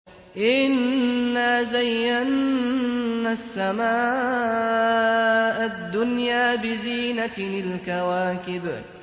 إِنَّا زَيَّنَّا السَّمَاءَ الدُّنْيَا بِزِينَةٍ الْكَوَاكِبِ